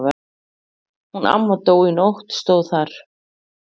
Hún amma dó í nótt stóð þar.